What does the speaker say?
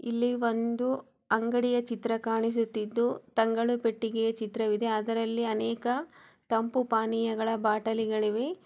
ಇದು ಒಂದು ಅಂಗಡಿಯ ಚಿತ್ರ ಕಾಣಿಸುತ್ತಿದ್ದು ತಂಗಳ ಪೆಟ್ಟಿಗೆಯ ಚಿತ್ರವಿದೇ ಆದರೆ ಅಲ್ಲಿ ಅನೇಕ ತಂಪು ಪಾನೀಯಗಳ ಬಾಟಲಿಗಳಿವೆ.